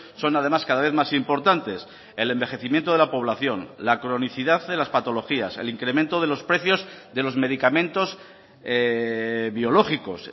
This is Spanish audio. son además cada vez más importantes el envejecimiento de la población la cronicidad de las patologías el incremento de los precios de los medicamentos biológicos